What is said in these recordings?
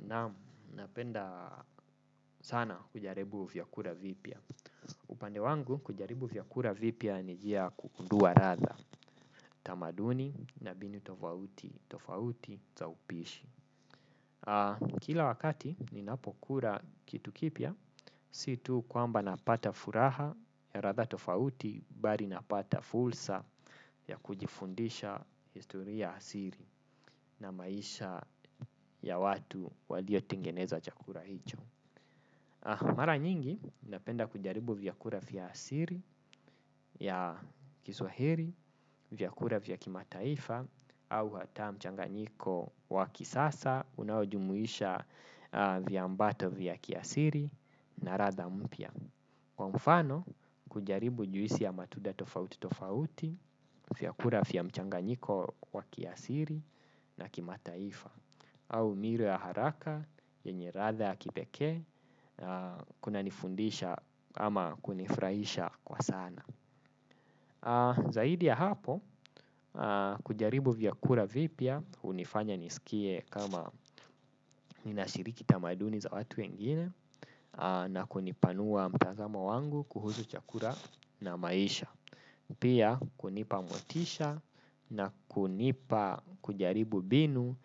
Naam napenda sana kujaribu vyakula vipya. Upande wangu kujaribu vyakula vipya ni njia ya kugundua ladha utamaduni na vitu tofauti tofauti vya upishi kila wakati ninapokula kitu kipya, si tu kwamba napata furaha ya ladha tofauti bali napata fursa ya kujifundisha historia asili na maisha ya watu walio tengeneza chakula hicho. Mara nyingi napenda kujaribu vyakula vya asili ya Kiswahili vyakula vya kimataifa au hata mchanganyiko wa kisasa unaojumuisha viambata vya kiasili na ladha mpya kwa mfano, kujaribu juisi ya matunda tofauti tofauti, vyakula vya mchanganyiko wakiasili na kimataifa, au miru ya haraka, yenye ladha ya kipekee, kuna nifundisha ama kunifurahisha kwa sana zaidi ya hapo kujaribu vyakula vipya hunifanya nijisikie kama ninashiriki tamaduni za watu wengine na kunipanua mtazamo wangu kuhusu chakula na maisha pia kunipa motisha na kunipa kujaribu mbinu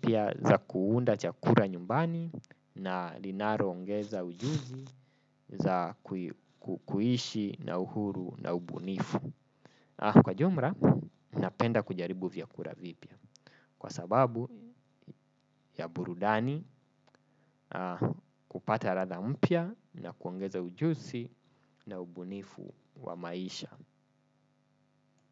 pia za kuunda chakula nyumbani na linalo ongeza ujuzi za kuishi na uhuru na ubunifu. Kwa ujumla napenda kujaribu vyakula vipya kwa sababu ya burudani kupata ladha mpya na kuongeza ujuzi na ubunifu wa maisha.